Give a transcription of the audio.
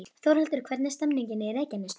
Þórhildur, hvernig er stemningin í Reykjanesbæ?